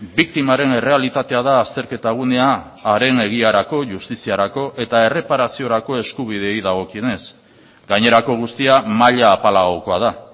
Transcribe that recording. biktimaren errealitatea da azterketa gunea haren egiarako justiziarako eta erreparaziorako eskubideei dagokienez gainerako guztia maila apalagokoa da